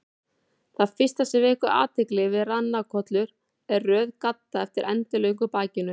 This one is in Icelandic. Það fyrsta sem vekur athygli við ranakollur er röð gadda eftir endilöngu bakinu.